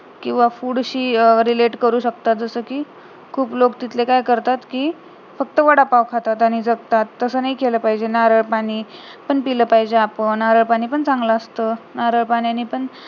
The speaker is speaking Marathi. किंवा food शी relate करू शकतात जसकी खूप लोक तिथले काय करतात कि फक्त वडापाव खातात आणि जगतात तसं नाही केलं पाहिजे नारळ पाणी पण पिलं पाहिजे आपण नारळ पाणी पण चांगलं असत नारळ पाण्यानी पण